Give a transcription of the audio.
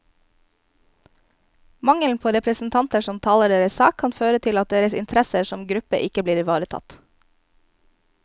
Mangelen på representanter som taler deres sak, kan føre til at deres interesser som gruppe ikke blir ivaretatt.